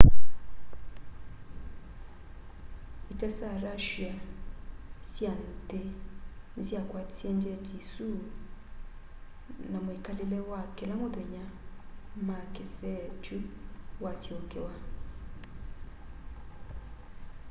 ita sya russia sya nthi nisyakwatisye njeti isu na mwikalile wa kila muthenya ma kisee kyu wasyokewa